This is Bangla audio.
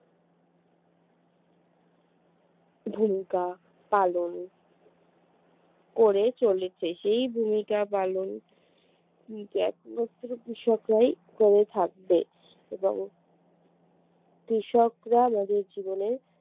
ভূমিকা পালন করে চলেছে সেই ভূমিকা পালন কিন্তু একমাত্র কৃষকরাই করে থাকবে এবং কৃষকরা আমাদের জীবনে